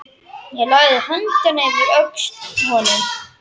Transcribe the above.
Ég lagði höndina yfir öxl honum.